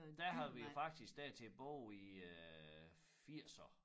Der har vi jo faktisk dertil både i æ firser